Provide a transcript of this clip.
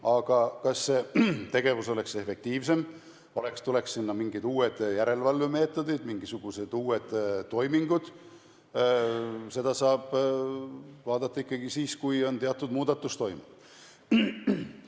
Aga kas see tegevus oleks efektiivsem, kui sinna tuleksid mingid uued järelevalvemeetodid, mingisugused uued toimingud, seda saab vaadata ikkagi siis, kui on teatud muudatus toimunud.